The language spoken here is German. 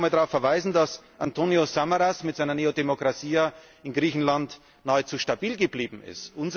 Ich darf einfach mal darauf verweisen, dass Antonis Samaras mit seiner Nea Dimokratia in Griechenland nahezu stabil geblieben